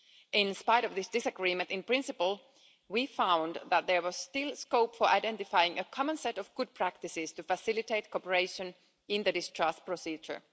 In spite of this disagreement in principle, we found that there was still scope for identifying a common set of good practices to facilitate cooperation in the discharge procedure.